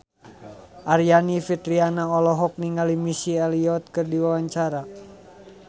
Aryani Fitriana olohok ningali Missy Elliott keur diwawancara